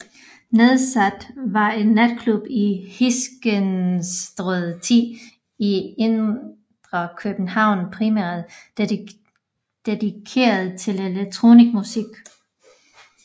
Nadsat var en natklub i Hyskenstræde 10 i indre København primært dedikeret til elektronik musik